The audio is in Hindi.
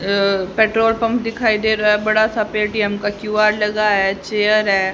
अ पेट्रोल पंप दिखाई दे रहा है। बड़ा सा पे टी_एम का क्यू_आर लगा है चेयर है।